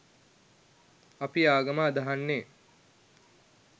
අපි ආගම අදහන්නේ